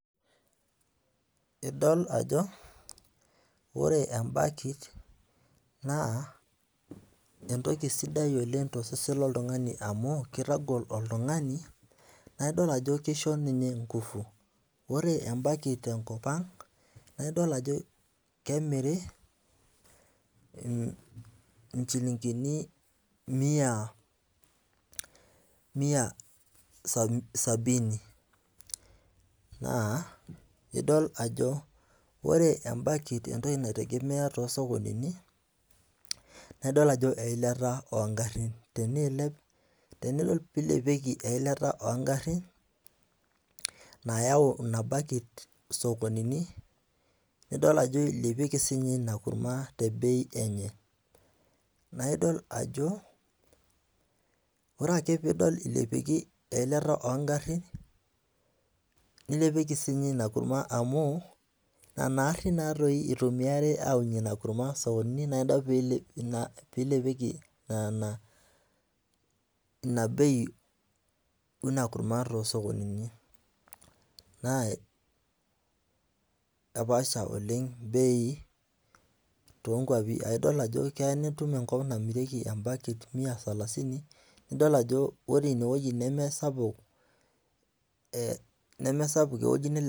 Idol ajo ore ebakit naa entoki sidai oleng tosesen loltungani amu, kitagol oltungani naa idol ajo kisho ninye nkufu ore empikit te nkop ang naa idol ajo kemiri nchulinkini mia sabini .naa idol ajo ore ebakit too sokonini naa eilata oogarin .tenelo neilep eilata oogarin. nayau Ina bakit isokoninu. nidol ajo ilepieki sii ninye Ina kurma te bei enye. naa idol ajo ore ake pee idol ilepieki eilat oogarin. nilepieki sii ninye inakurma amu Nena arin naa doi itumiari aunie inankura. naa idol pee ilepieki Nena bei oina kurama too sokonini naa kepaasha oleng bei too kuapi. keys nitum enkop naamirieki bei. nemesapuk ewueji